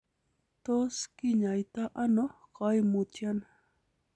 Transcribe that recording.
Tos kinyaita ono koimutioni?